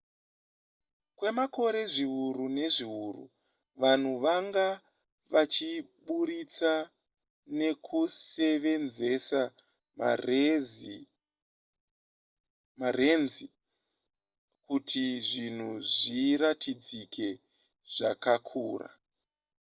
kwemakore zviuru nezviuru vanhu vanga vachiburitsa nekusevenzesa marenzi kuti zvinhu zviratidzike zvakakura